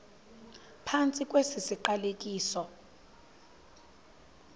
phantsi kwesi siqalekiso